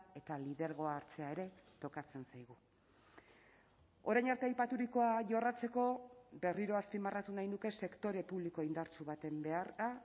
eta lidergoa hartzea ere tokatzen zaigu orain arte aipaturikoa jorratzeko berriro azpimarratu nahi nuke sektore publiko indartsu baten beharra